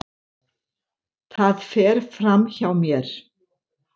Það fer fram hjá mér.